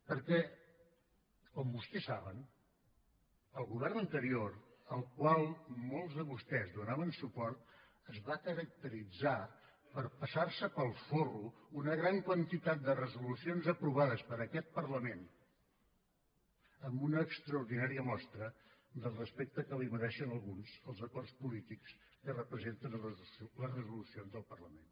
perquè com vostès saben el govern anterior al qual molts de vostès donaven suport es va caracteritzar per passar se pel forro una gran quantitat de resolucions aprovades per aquest parlament amb una extraordinària mostra del respecte que els mereixen a alguns els acords polítics que representen les resolucions del parlament